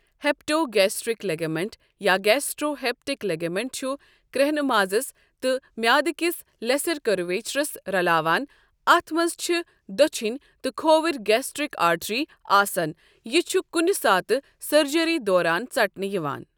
Hepatogastric ligament یا gastrohepatic ligament چھُ کرٛیٚہنہٕ مازَس تہٕ میٚادٕ کِس لؠسَر کٔرویچَرس رَلاوَن اَتھ مَنٛز چھِ دۄچھِنؠ تہٕ کھووُر گیسٹرِک آرٹری آسَن یہِ چھُ کُنہ ساتہٕ سٕرجری دوران ژَٹنہٕ یِوان۔